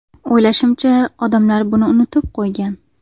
O‘ylashimcha, odamlar buni unutib qo‘ygan.